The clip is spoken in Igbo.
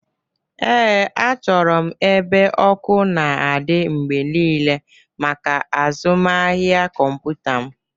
Ee, achọrọ m ebe ọkụ na-adị mgbe niile maka azụmahịa kọmpụta m.